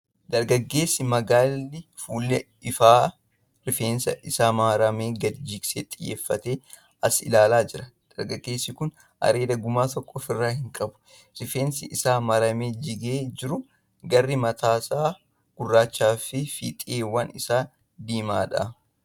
Dargaaggeessi magaalli fuula ifaa rifeensa isaa maramaa gadi jigsee xiyyeeffatee as ilaalaa jira. Dargaggeessi kun areeda gumaa takka ofirraa hin qabu. Rifeensi isaa maramee jigee jiru garri matas gurraacha fi fiixeewwan isaa diimaadha.